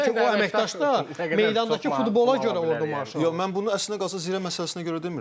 Çünki o əməkdaş da meydandakı futbola görə orda maaş yox, mən bunu əslinə qalsa Zirə məsələsinə görə demirdim.